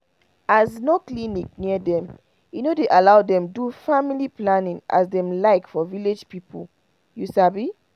as no clinic near dem e no dey allow dem do family planning as dem like for village people you sabi